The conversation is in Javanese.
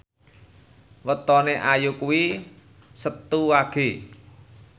wetone Ayu kuwi Setu Wage